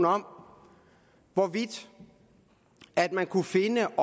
om hvorvidt man kunne finde